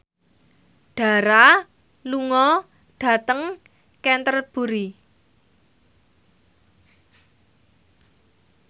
Dara lunga dhateng Canterbury